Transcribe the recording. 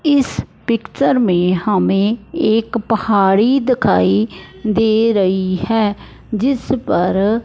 इस पिक्चर में हमे एक पहाड़ी दिखाई दे रही हैं जिस पर--